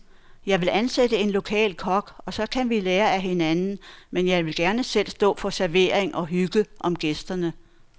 Jeg vil ansætte en lokal kok, og så kan vi lære af hinanden, men jeg vil gerne selv stå for servering og hygge om gæsterne.